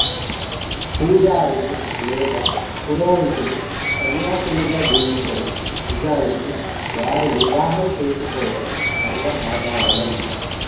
పూజారులు లేదా పురోహితులు సన్యాసులుగా జీవించరు నిజానికి వారు వివాహం చేసుకోవడం సర్వసాధారణం